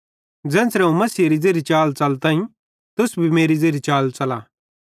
ज़ेन्च़रे अवं मसीहेरी ज़ेरी चाल च़लताईं तुस भी मेरी ज़ेरी चाल च़ला